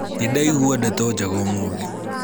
nĩndaigua ndeto njega ũmũthĩ